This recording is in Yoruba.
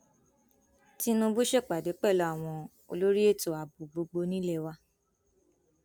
tinúbú ṣèpàdé pẹlú àwọn olórí ètò ààbò gbogbo nílé wa